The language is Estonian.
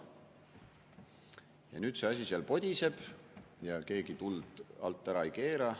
Ja see asi seal podiseb ja keegi tuld alt ära ei keera.